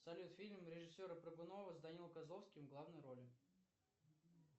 салют фильм режиссера прыгунова с даниилом козловским в главной роли